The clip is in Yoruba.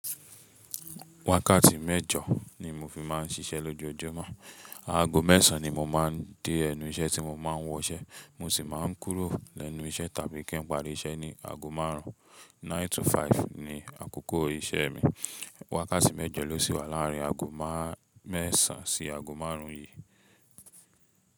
Wákàtí mẹ́jọ ni mo fi máà ń ṣiṣẹ́ lójoojúmọ́. Aago mẹ́sàn ni mo máa ń dé ẹnu iṣẹ́ tí mo máa ń wọ iṣẹ́, mo sì máa ń kúrò lẹ́nu iṣẹ́ tàbí kí n pàrí iṣẹ́ ní aago márùn ún. Nine to five ni àkókò iṣẹ́ mi. Wákàtí mẹ́jọ ló sì wà láàrin aago mẹ́sàn sí aago márùn ún yìí.